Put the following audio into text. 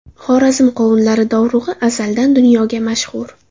Xorazm qovunlari dovrug‘i azaldan dunyoga mashhur.